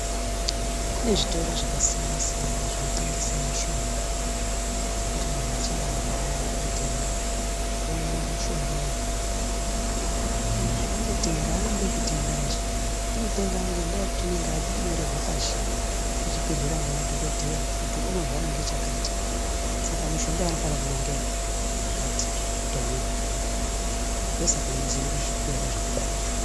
Kune zvitoro zvakasiyana siyana zvinotengese mishonga zvekuti muntu kana achinge arwara unoende kotenga omwa mishongayo. Izvi unotenga aambi ekutenganje unotenga ngendaa yekuti unenge anyorerwe pashi kuchibhedhleya ngemadhokodheya kuti unorwara ngechakati saka mishonga yanofana kumwa ngeyakati kuti aone kupona ndosaka muntu aizoende kuzvitoro zvakadaro.